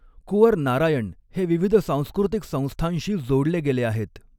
कुॅंवर नारायण हे विविध सांस्कृतिक संस्थांशी जोडले गेले आहेत.